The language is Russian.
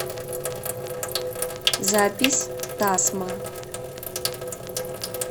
запись тасма